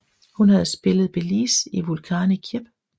Hun havde spillet Bélise i Vulcani Kjæp